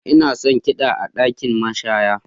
Ina son kiɗan a ɗakin mashaya.